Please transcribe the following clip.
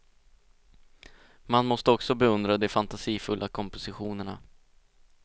Man måste också beundra de fantasifulla kompositionerna.